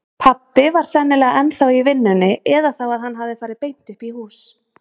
Pabbi var sennilega ennþá í vinnunni eða þá að hann hafði farið beint uppí hús.